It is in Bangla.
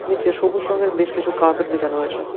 নীচে সবুজ রঙের বেশ কিছু কার্পেট বিছানো হয়েছে।